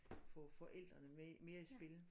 Få forældrene mere mere i spil